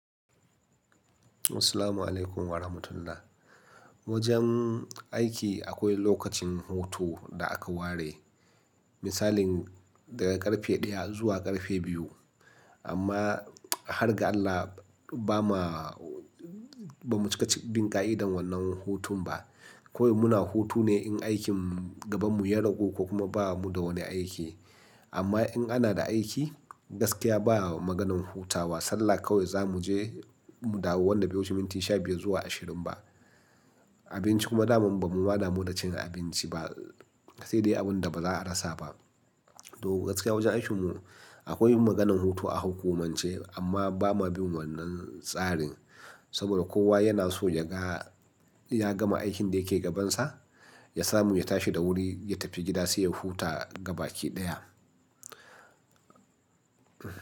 Assalamu alaikum wa rahmatullah. Wajen aiki akwai lokacin hutu da aka ware, misalin daga ƙarfe ɗaya zuwa ƙarfe biyu. Amma har ga Allah ba ma, ba mu cika cikin bin ƙa'idar wannan hutun ba. Kowai muna hutu ne in aikin gabanmu ya ragu ko kuma ba mu da wani aiki. Amma in ana da aiki, gaskiya ba maganin hutawa. Sallah kawai za mu je, mu dawo wannan da biyu cikin minti sha biyu zuwa ashirin ba. Abinci kuma da ba mu ma da mu da cin abinci ba. Kasai dai abin da ba za a rasa ba. To gaskiya wajen aikinmu akwai maganan hutu a hukumance, amma ba ma bin wannan tsarin. Saboda kowa yana so ya ga ya gama aikin da yake gabansa, ya samu ya tashi da wuri, ya tafi gida sai ya huta gabaki ɗaya.